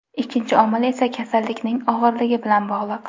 Ikkinchi omil esa kasallikning og‘irligi bilan bog‘liq.